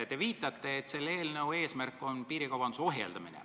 Te viitate, et selle eelnõu eesmärk on piirikaubanduse ohjeldamine.